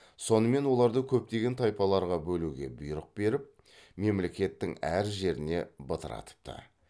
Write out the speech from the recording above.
сонымен оларды көптеген тайпаларға бөлуге бұйрық беріп мемлекеттің әр жеріне бытыратыпты